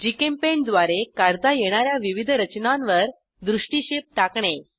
GChemPaint द्वारे काढता येणा या विविध रचनांवर दृष्टिक्षेप टाकणे